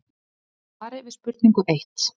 í svari við spurningu eitt.